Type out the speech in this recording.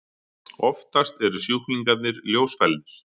Oftast eru sjúklingarnir ljósfælnir.